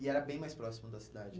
E era bem mais próximo da cidade?